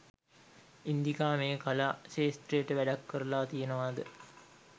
ඉන්දිකා මේ කලා ක්ෂේත්‍රයට වැඩක් කරලා තියෙනවාද?